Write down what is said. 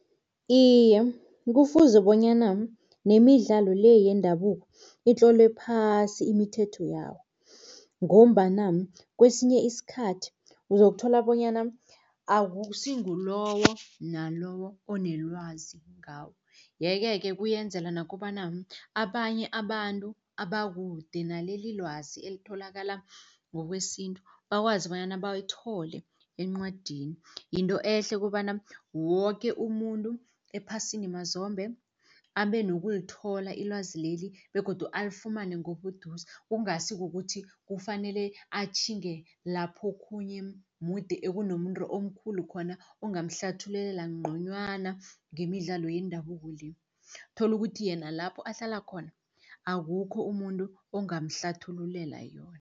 Iye, kufuze bonyana nemidlalo le yendabuko itlolwe phasi imithetho yawo, ngombana kesinye isikhathi uzokuthola bonyana akusi ngulowo nalowo onelwazi ngawo. Yeke-ke kuyenzela nokobana abanye abantu abakude naleli ilwazi elitholakala ngokwesintu, bakwazi bonyana bayithole encwadini. Yinto ehle kobana woke umuntu ephasini mazombe abe nokulithola ilwazi leli begodu alifumane ngobuduze. Kungasi kukuthi kufanele atjhinge laphokhunye moet ekunomuntu omkhulu khona, ongamhlathululela nconywana ngemidlalo yendabuko le. Uthola ukuthi yena lapho ahlala khona akukho umuntu ongamhlathululela yona.